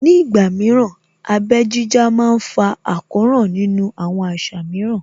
Ní ìgbà mìíràn, abẹ́ jíjá má ń fa àkóràn nínú àwọn àṣà mìíràn